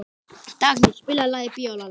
Dagný, spilaðu lagið „Bíólagið“.